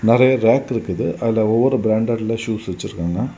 நெறய ரேக் இருக்குது. அதுல ஒவ்வொரு பிராண்டட்ல ஷூஸ் வச்சிருக்காங்க.